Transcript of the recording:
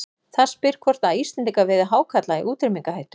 Það spyr hvort að Íslendingar veiði hákarla í útrýmingarhættu.